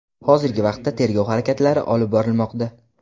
Hozirgi vaqtda tergov harakatlari olib borilmoqda.